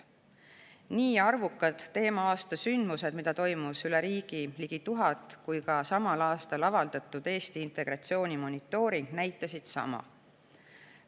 Nii arvukad teema-aasta sündmused, mida toimus üle riigi ligi 1000, kui ka samal aastal avaldatud Eesti integratsiooni monitooring näitasid sama.